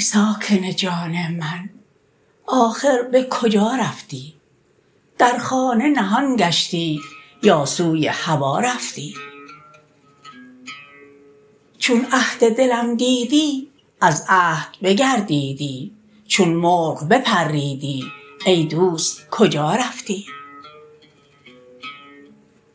ساکن جان من آخر به کجا رفتی در خانه نهان گشتی یا سوی هوا رفتی چون عهد دلم دیدی از عهد بگردیدی چون مرغ بپریدی ای دوست کجا رفتی